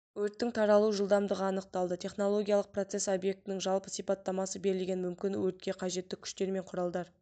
өрттің таралу жылдамдығы анықталды технологиялық процесс объектінің жалпы сипаттамасы берілген мүмкін өртке қажетті күштер мен құралдар